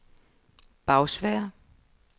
Bagsværd